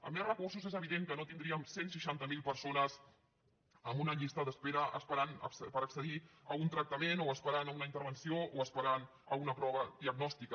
amb més recursos és evident que no tindríem cent i seixanta miler persones en una llista d’espera esperant per accedir a un tractament o esperant una intervenció o esperant una prova diagnòstica